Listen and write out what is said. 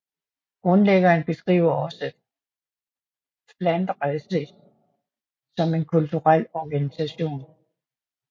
Grundlæggeren beskriver også Flandrensis som en kulturel organisation